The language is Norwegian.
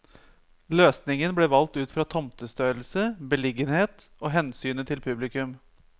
Løsningen ble valgt ut fra tomtestørrelse, beliggenhet og hensynet til publikum.